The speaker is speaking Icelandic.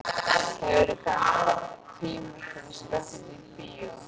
Hefurðu kannski tíma til að skreppa í bíó?